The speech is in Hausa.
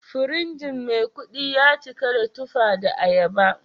Firinji Maikudi ya cika da tuffa da ayaba